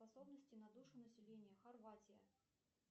способности на душу населения хорватия